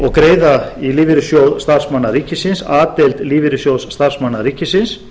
og greiða í lífeyrissjóð starfsmanna ríkisins a deild lífeyrissjóðs starfsmanna ríkisins